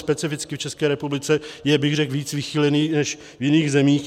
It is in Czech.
Specificky v České republice je, řekl bych, víc vychýlený než v jiných zemích.